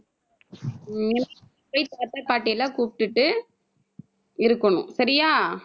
போய் தாத்தா பாட்டி எல்லாம் கூப்பிட்டுட்டு இருக்கணும். சரியா